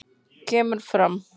kemur fram